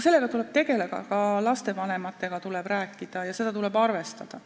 Sellega tuleb tegeleda, ka lastevanematega tuleb rääkida ja seda tuleb arvestada.